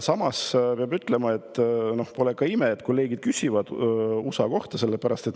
Samas, peab ütlema, pole ime, et kolleegid küsivad USA kohta.